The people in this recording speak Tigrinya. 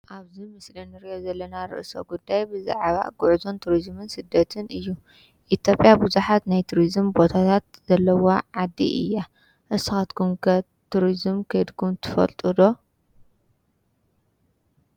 ኣብዚ ምስሊ እንሪኦ ዘለና ርእሰ ጉዳይ ብዛዕባ ጉዕዞን ቱሪዝምን ስደትን እዩ፡፡ ኢትዮጵያ ቡዙሓት ናይ ቱሪዝም ቦታታት ዘለዋ ዓዲ እያ፡፡ ንስካትኩም ከ ቱሪዝም ከይድኩም ትፈልጡ ዶ?